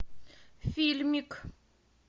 фильмик